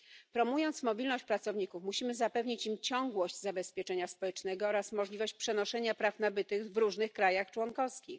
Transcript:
Promując mobilność pracowników, musimy zapewnić im ciągłość zabezpieczenia społecznego oraz możliwość przenoszenia praw nabytych w różnych państwach członkowskich.